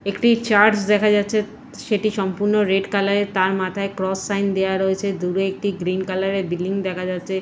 একটি চার্চ দেখা যাচ্ছে সেটি সম্পূর্ণ রেড কালারের তার মাথায় ক্রস সাইন দেয়া রয়েছে দূরে একটি গ্রীন কালারের বিল্ডিং দেখা যাচ্ছে।